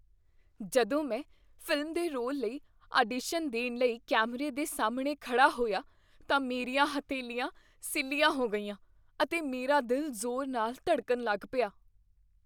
ਜਦੋਂ ਮੈਂ ਫ਼ਿਲਮ ਦੇ ਰੋਲ ਲਈ ਆਡੀਸ਼ਨ ਦੇਣ ਲਈ ਕੈਮਰੇ ਦੇ ਸਾਹਮਣੇ ਖੜ੍ਹਾ ਹੋਇਆ ਤਾਂ ਮੇਰੀਆਂ ਹਥੇਲੀਆਂ ਸਿੱਲ੍ਹਿਆ ਹੋ ਗਈਆਂ ਅਤੇ ਮੇਰਾ ਦਿਲ ਜ਼ੋਰ ਨਾਲ ਧੜਕਣ ਲੱਗ ਪਿਆ ।